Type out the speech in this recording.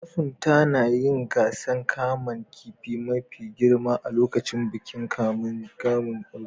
Masunta na yin gasan kaman kifin mafi girma a'lokacin bikin kaman kifin Argungu.